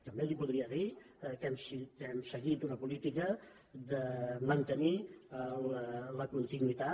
també li podria dir que hem seguit una política de mantenir la continuïtat